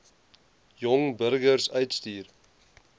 jong burgers uitstuur